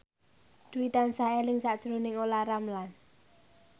Dwi tansah eling sakjroning Olla Ramlan